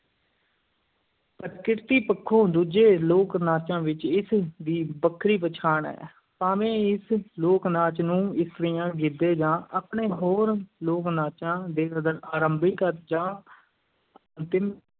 ਪ੍ਰਕਿਰਤੀ ਪੱਖੋਂ ਦੂਜੇ ਲੋਕ-ਨਾਚਾਂ ਵਿੱਚ ਇਸ ਦੀ ਵੱਖਰੀ ਪਛਾਣ ਹੈ, ਭਾਵੇਂ ਇਸ ਲੋਕ-ਨਾਚ ਨੂੰ ਇਸਤਰੀਆਂ ਗਿੱਧੇ ਜਾਂ ਆਪਣੇ ਹੋਰ ਲੋਕ-ਨਾਚਾਂ ਦੇ ਆਰ ਅਰੰਭਿਕ ਜਾਂ ਅੰਤਿਮ